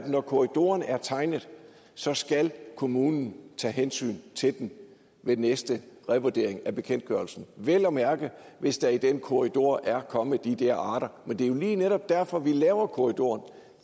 når korridoren er tegnet så skal kommunen tage hensyn til den ved næste revurdering af bekendtgørelsen vel at mærke hvis der i den korridor er kommet de der arter men det er lige netop derfor vi laver korridoren